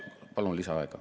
Palun lisaaega.